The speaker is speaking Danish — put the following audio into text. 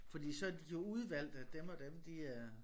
Fordi så har de jo udvalgt at dem og dem de er